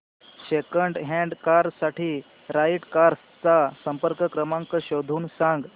second hand car साठी right cars चा संपर्क क्रमांक शोधून सांग